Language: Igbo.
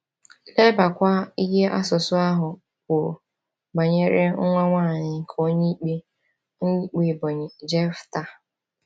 Lebakwa ihe asụsụ ahụ kwuru banyere nwa nwanyị nke Onyeikpe Onyeikpe Ebonyi Jephthah.